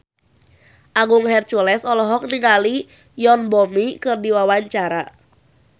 Agung Hercules olohok ningali Yoon Bomi keur diwawancara